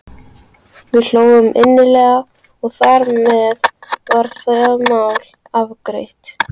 Við hlógum innilega og þar með var það mál afgreitt.